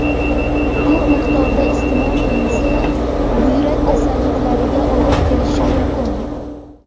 Ko‘p miqdorda iste’mol qilinsa, buyrak kasalliklariga olib kelishi mumkin.